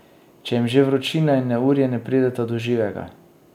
Če jim že vročina in neurje ne prideta do živega.